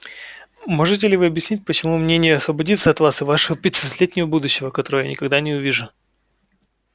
можете ли вы объяснить почему бы мне не освободиться от вас и вашего пятисотлетнего будущего которого я никогда не увижу